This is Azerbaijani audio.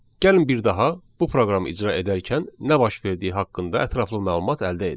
Gəlin bir daha bu proqramı icra edərkən nə baş verdiyi haqqında ətraflı məlumat əldə edək.